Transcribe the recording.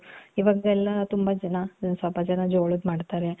ಇವಾಗ ಎಲ್ಲಾ ತುಂಬಾ ಜನ ಸ್ವಲ್ಪ ಜನ ಜೋಳದ್ ಮಾಡ್ತಾರೆ .